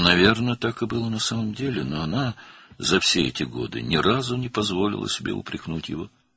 Yəqin ki, əslində belə idi, lakin o, bütün bu illər ərzində onu heç vaxt qınamağa cəsarət etməmişdi.